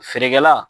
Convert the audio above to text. Feerekɛla